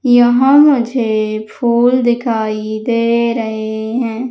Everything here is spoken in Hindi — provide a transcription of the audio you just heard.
यहां मुझे फूल दिखाई दे रहे हैं।